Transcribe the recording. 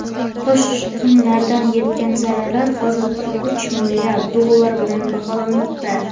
Toshqinlardan yetgan zarar hozirda uch milliard dollar deb baholanmoqda.